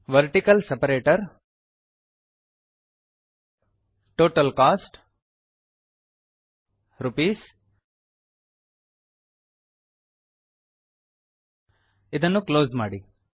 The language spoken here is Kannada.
vertical separator total costs ಇದನ್ನು ಕ್ಲೋಸ್ ಮಾಡಿ